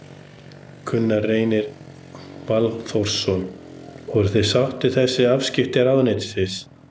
Gunnar Reynir Valþórsson: Voruð þið sátt við þessi afskipti ráðuneytisins?